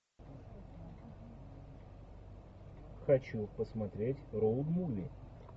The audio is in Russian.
хочу посмотреть роуд муви